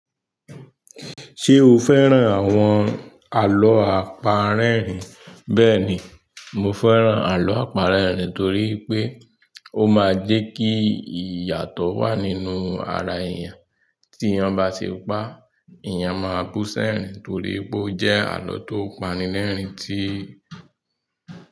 Ṣé o fẹ́ràn àwọn àlọ́ àparẹ́rìn? Bẹ́ẹ̀ni, mo fẹ́ràn àlọ́ àparẹ́rìn torí pé ó máa ń jẹ́ kí ìyàtọ̀ wà nínú ara èèyàn. Tí ẹéyan bá ṣe pá, èèyàn máa bú sẹ́rìn torí pé ó jẹ́ àlọ́ tó pani lẹ́rìn-ín tí.